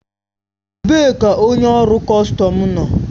Ebee ka onye ọrụ kọstọm nọ?